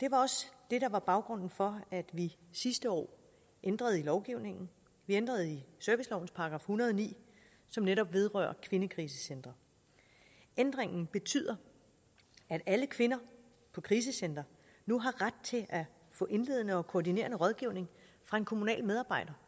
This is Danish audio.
også det der var baggrunden for at vi sidste år ændrede i lovgivningen vi ændrede i servicelovens § en hundrede og ni som netop vedrører kvindekrisecentre ændringen betyder at alle kvinder på krisecentre nu har ret til at få en indledende og koordinerende rådgivning fra en kommunal medarbejder